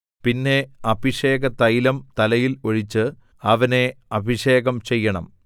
പിന്നെ അഭിഷേകതൈലം തലയിൽ ഒഴിച്ച് അവനെ അഭിഷേകം ചെയ്യണം